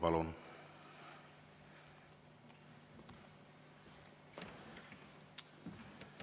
Palun!